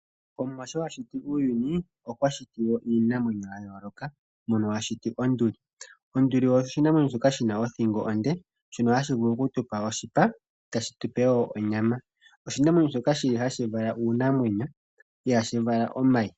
Omuwa sho a shiti uuyuni okwa shiti wo iinamwenyo ya yooloka mono a shiti onduli. Onduli oshinamwenyo shoka shina othingo onde shono hashi vulu okutupa oshipa tashi tupe wo onyama, oshinamwenyo shoka hashi vala uunamwenyo ihaashi vala omayi